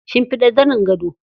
Shimfiɗa zanin gado.